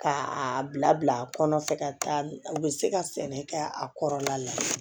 K'a bila kɔnɔ fɛ ka taa u bɛ se ka sɛnɛ kɛ a kɔrɔla la